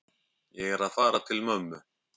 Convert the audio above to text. Ég er að fara til mömmu.